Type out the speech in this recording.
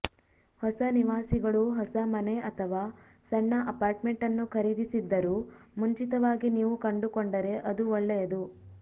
ಹೊಸ ನಿವಾಸಿಗಳು ಹೊಸ ಮನೆ ಅಥವಾ ಸಣ್ಣ ಅಪಾರ್ಟ್ಮೆಂಟ್ ಅನ್ನು ಖರೀದಿಸಿದ್ದರೂ ಮುಂಚಿತವಾಗಿ ನೀವು ಕಂಡುಕೊಂಡರೆ ಅದು ಒಳ್ಳೆಯದು